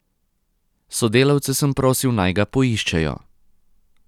Sodelavce sem prosil, naj ga poiščejo.